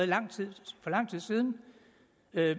lang tid siden